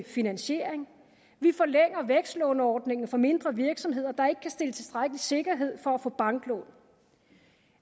finansiering vi forlænger vækstlåneordningen for mindre virksomheder der ikke kan stille tilstrækkelig sikkerhed for at få banklån